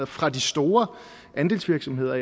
fra de store andelsvirksomheder